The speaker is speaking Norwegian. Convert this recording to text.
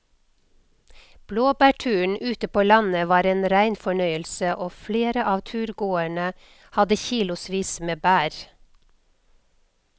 Blåbærturen ute på landet var en rein fornøyelse og flere av turgåerene hadde kilosvis med bær.